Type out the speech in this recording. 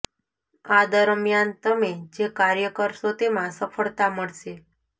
આ દરમિયાન તમે જે કાર્ય કરશો તેમાં સફળતા મળશે